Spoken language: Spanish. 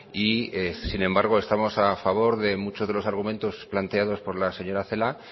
y sin embargo estamos a favor de muchos de los argumentos planteados por la señora celaá